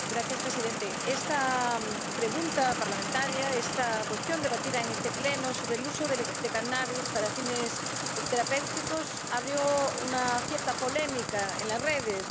Señor presidente, esta pregunta parlamentaria, esta cuestión debatida en el Pleno sobre el uso del cannabis para fines terapéuticos desató cierta polémica en las redes.